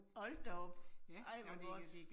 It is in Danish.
Hold da op. ej, hvor godt